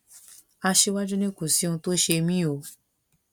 aṣíwájú ni kò sí ohun tó ṣe mí o